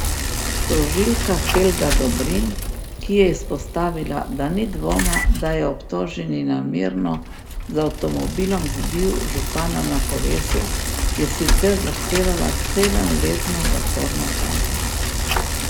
Tožilka Helga Dobrin, ki je izpostavila, da ni dvoma, da je obtoženi namerno z avtomobilom zbil župana na kolesu, je sicer zahtevala sedemletno zaporno kazen.